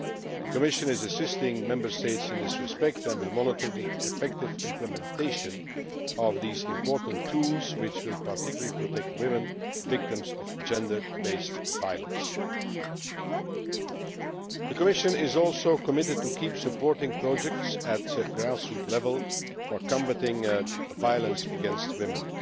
The Commission is assisting Member States in this respect and will monitor the effective implementation of these important tools, which will particularly protect women victims of gender based violence. The Commission is also committed to continuing to support projects at grass roots level to combat violence against women.